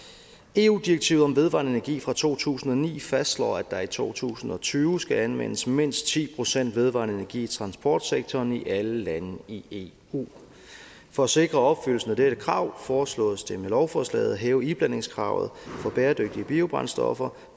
eu direktivet om vedvarende energi fra to tusind og ni fastslår at der i to tusind og tyve skal anvendes mindst ti procent vedvarende energi i transportsektoren i alle lande i eu for at sikre opfyldelsen af dette krav foreslås det med lovforslaget at hæve iblandingskravet for bæredygtige biobrændstoffer